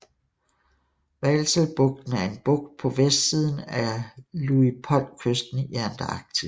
Vahselbugten er en bugt på vestsiden af Luitpoldkysten i Antarktis